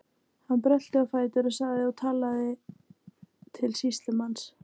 Hann brölti á fætur og sagði og talaði til sýslumanns